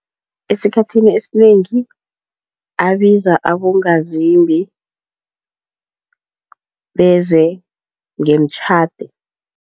Esikhathini esinengi abiza abongazimbi beze ngemtjhade.